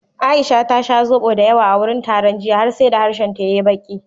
Aisha ta sha zobo dayawa a wurin taron jiya har sai da harshenta ya yi baƙi.